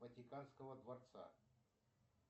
ватиканского дворца